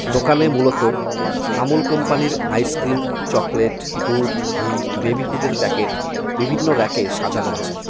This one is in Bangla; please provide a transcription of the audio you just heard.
দোকানে মূলত আমূল কোম্পানির আইসক্রিম চকলেট দুধ ঘি বেবি ফুডের প্যাকেট বিভিন্ন রেকে সাজানো আছে।